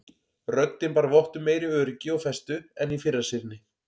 Röddin bar vott um meiri öryggi og festu en í fyrra sinnið.